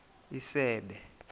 isebe